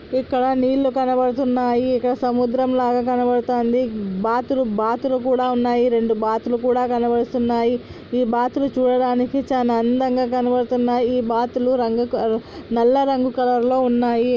ఇక్కడ నీళ్లు కనబడుతున్నాయి ఇక్కడ సముద్రం లాగా కనబడుతోంది బాతులు బాతులు కూడా ఉన్నాయి రెండు బాతులు కూడా వలవేసి ఉన్నాయి ఈ బాతులు చూడడానికి చాలా అందంగా కనబడుతున్నాయి ఈ బాతులు రంగు నల్ల రంగు కలర్ లో ఉన్నాయి.